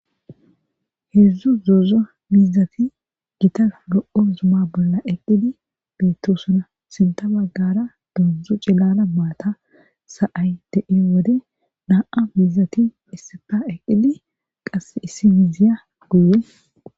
Heedzdzu zoza miizati gita lo'u zuma bolla eqqidi beettosuna sinta baggara dondzu cillala maata sa'ay de'i wode na'a miizati issipa eqqidi qass issi miziya guye.